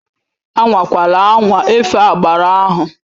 Anwakwala anwa efe agbara ahụ!